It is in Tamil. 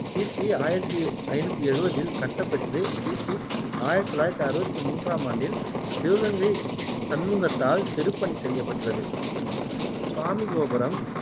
கிபி ஆயிரத்து ஐநூத்து எழுவதில் கட்டப்பெற்று கிபி ஆயிரத்தி தொள்ளாயிரத்தி அறுவத்தி மூன்றாம் ஆண்டில் சிவகங்கை சண்முகத்தால் திருப்பணி செய்யப்பெற்றது சுவாமி கோபுரம்